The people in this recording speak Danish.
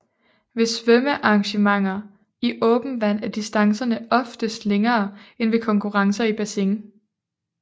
Ved svømmearrangementer i åbent vand er distancerne oftest længere end ved konkurrencer i bassin